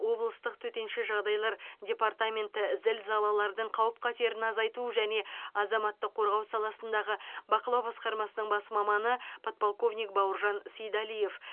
облыстық төтенше жағыдай департаментінің зілзалалардың қауіп қатерін азайту және азаматтық қорғау саласындағы бақылау басқармасының бас маманы подполковник бауыржан сейдалиев